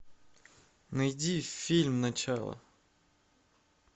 найди фильм начало